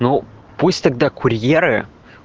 ну пусть тогда курьеры